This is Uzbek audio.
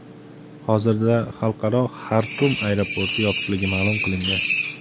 Hozirda xalqaro Xartum aeroporti yopiqligi ma’lum qilingan.